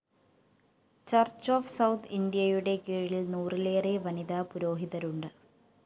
church of South ഇന്ത്യയുടെ കീഴില്‍ നൂറിലേറെ വനിതാ പുരോഹിതരുണ്ട്